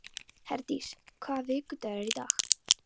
Herdís, hvaða vikudagur er í dag?